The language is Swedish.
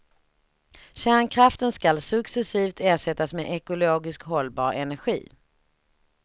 Kärnkraften ska successivt ersättas med ekologiskt hållbar energi.